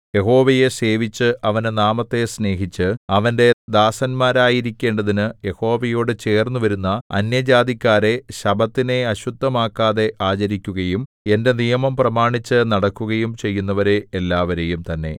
യഹോവയെ സേവിച്ച് അവന്റെ നാമത്തെ സ്നേഹിച്ച് അവന്റെ ദാസന്മാരായിരിക്കേണ്ടതിനു യഹോവയോടു ചേർന്നുവരുന്ന അന്യജാതിക്കാരെ ശബ്ബത്തിനെ അശുദ്ധമാക്കാതെ ആചരിക്കുകയും എന്റെ നിയമം പ്രമാണിച്ചു നടക്കുകയും ചെയ്യുന്നവരെ എല്ലാവരെയും തന്നെ